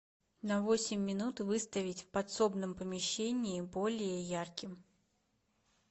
на восемь минут выставить в подсобном помещении более ярким